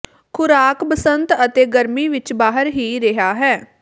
ਖ਼ੁਰਾਕ ਬਸੰਤ ਅਤੇ ਗਰਮੀ ਵਿੱਚ ਬਾਹਰ ਹੀ ਰਿਹਾ ਹੈ